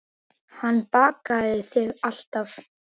Hann bakar þig alltaf.